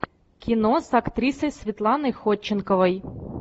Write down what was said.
кино с актрисой светланой ходченковой